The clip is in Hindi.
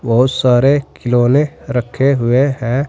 बहुत सारे खिलौने रखे हुए हैं।